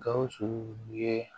Gawusu ye